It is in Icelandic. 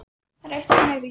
Það er eitt sem víst er.